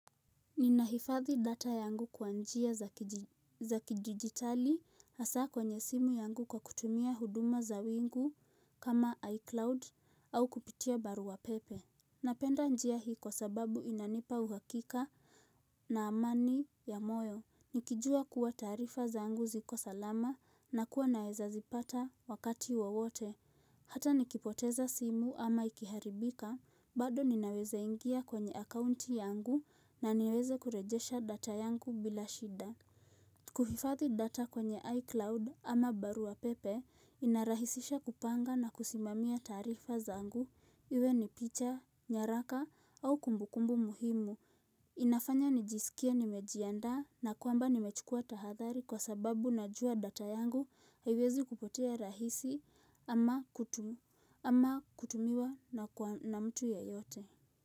Ninahifadhi data yangu kwa njia za kidijitali hasa kwenye simu yangu kwa kutumia huduma za wingu kama iCloud au kupitia barua pepe. Napenda njia hii kwa sababu inanipa uhakika na amani ya moyo. Nikijua kuwa taarifa zangu ziko salama na kuwa naeza zipata wakati wowote. Hata nikipoteza simu ama ikiharibika, bado ninaweza ingia kwenye akaunti yangu na niweze kurejesha data yangu bila shida. Kuhifadhi data kwenye iCloud ama barua pepe inarahisisha kupanga na kusimamia tarifa zangu. Iwe ni picha, nyaraka au kumbukumbu muhimu. Inafanya nijisikie nimejianda na kwamba nimechukua tahadhari kwa sababu najua data yangu haiwezi kupotea rahisi ama kutum ama kutumiwa na mtu ya yote.